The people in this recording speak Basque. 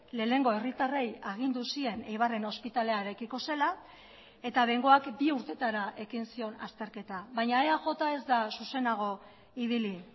lehenengo herritarrei agindu zien eibarren ospitalea eraikiko zela eta bengoak bi urtetara ekin zion azterketa baina eaj ez da zuzenago ibili